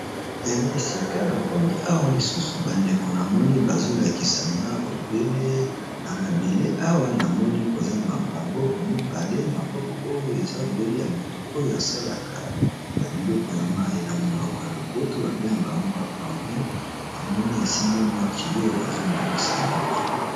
Na esika na komi awa lisusu ba ndeko na moni bazo lakisa nga obele na mabele awa na moni koza maboko mibale, maboko oyo eza obele ya motu oyo asalaka ba biloko ya mayi, na monoko ya lopoto ba bengaka bango ba plombier na moni asimbi mwa tuyau azo bongisa yango awa.